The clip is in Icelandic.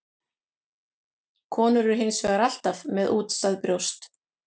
Konur eru hins vegar alltaf með útstæð brjóst.